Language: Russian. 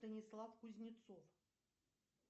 станислав кузнецов